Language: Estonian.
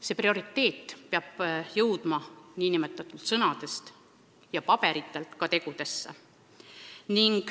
See prioriteet peab jõudma sõnadest ja paberilt ka tegudesse.